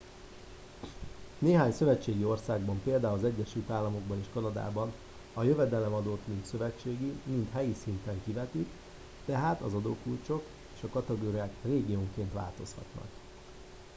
néhány szövetségi országban például az egyesült államokban és kanadában a jövedelemadót mind szövetségi mind helyi szinten kivetik tehát az adókulcsok és a kategóriák régiónként változhatnak